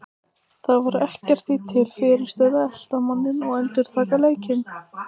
Það var ekkert því til fyrirstöðu að elta manninn og endurtaka leikinn.